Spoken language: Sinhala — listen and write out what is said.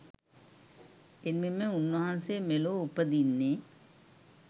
එමෙන්ම උන්වහන්සේ මෙලොව උපදින්නේ